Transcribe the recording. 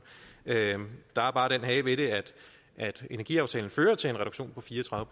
der er bare den hage ved det at energiaftalen fører til en reduktion på fire og tredive